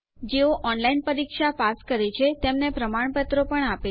જેઓ ઓનલાઇન પરીક્ષા પાસ કરે છે તેમને પ્રમાણપત્રો આપે છે